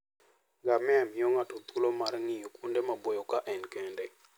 Ngamia miyo ng'ato thuolo mar ng'iyo kuonde maboyo ka en kende.